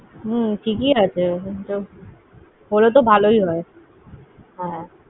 হম ঠিক ই আছে, হলে তো ভালোই হয়। হ্যাঁ